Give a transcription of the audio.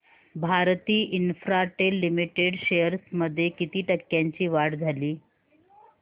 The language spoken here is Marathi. भारती इन्फ्राटेल लिमिटेड शेअर्स मध्ये किती टक्क्यांची वाढ झाली